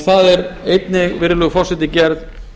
það er einnig gerð